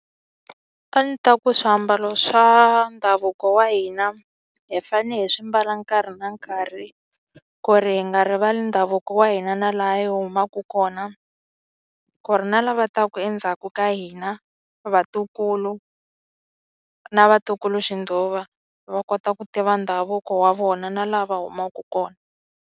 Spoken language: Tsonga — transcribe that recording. A ni ta ku swiambalo swa ndhavuko wa hina hi fanele hi swi mbala nkarhi na nkarhi ku ri hi nga rivali ndhavuko wa hina na laha hi humaka kona ku ri na lava taka endzhaku ka hina vatukulu na vatukuluxindzhuva va kota ku tiva ndhavuko wa vona na laha va humaka kona.